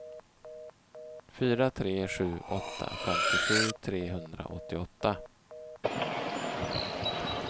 fyra tre sju åtta femtiosju trehundraåttioåtta